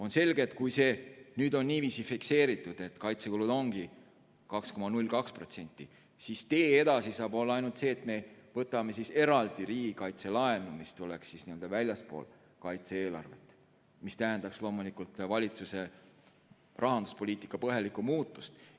On selge, et kui nüüd on fikseeritud, et kaitsekulud ongi 2,02%, siis edasi saab minna ainult nii, et me võtame eraldi riigikaitselaenu, mis tuleks väljastpoolt kaitse-eelarvet ja tähendaks loomulikult valitsuse rahanduspoliitika põhjalikku muutust.